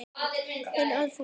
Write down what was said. Þinn Alfreð Ragnar.